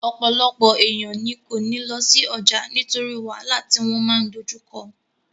Ọ̀pọ̀lọpọ̀ èèyàn ní kò ní lọ sí ọjà nítorí wàhálà tí wọ́n máa dojú kọ